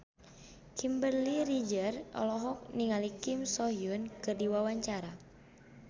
Kimberly Ryder olohok ningali Kim So Hyun keur diwawancara